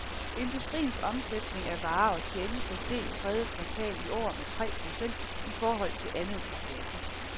Industriens omsætning af varer og tjenester steg i tredje kvartal i år med tre procent i forhold til andet kvartal.